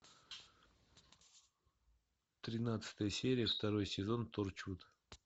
тринадцатая серия второй сезон торчут